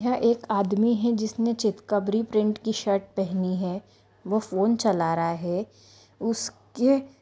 यह एक आदमी है जिसने चित कबरी प्रिन्ट की शर्ट पहनी है वो फोन चला रहा है उसके --